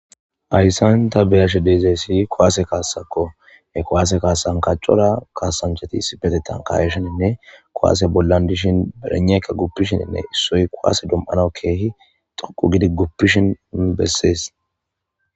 Hayissan ta beyashe deezeyssi kowaase kaasakko e kowaase kaasan kaccora kaasanchati spetetan kaweshininne kowaase bollan dishin berenekka guppishininne issoy koaase dom'ana keehi xoqu gidi guppishinn bessees